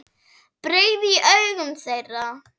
brigði í augum þeirra.